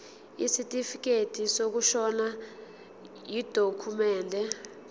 isitifikedi sokushona yidokhumende